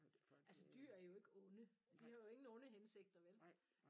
Altså dyr er jo ikke onde de har jo ingen onde hensigter vel